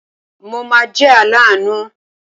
Mo ma jẹ́ aláàánú.